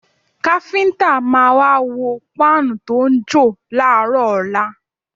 Káfíńtà máa wá wo páànù tó ń jò láàárọ̀ ọ̀la